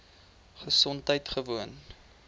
gesondheidgewoon